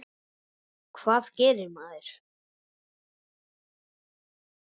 Hvað gerir maður?